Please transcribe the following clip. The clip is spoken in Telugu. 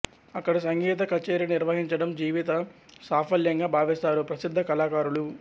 అక్కడ సంగీత కచేరీ నిర్వహించడం జీవిత సాఫల్యంగా భావిస్తారు ప్రసిద్ధ కళాకారులు